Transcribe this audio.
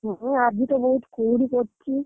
ହଁ ଆଜି ତ ବହୁତ୍ କୁହୁଡି ପଡିଛି।